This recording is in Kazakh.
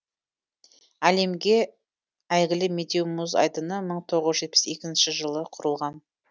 әлемге әйгілі медеу мұз айдыны мың тоғыз жүз жетпіс екінші жылы құрылған